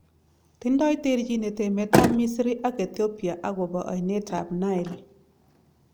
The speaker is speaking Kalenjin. Tindoi terchinet emet ab Misri ak Ethiopia agopo ainet ab Nile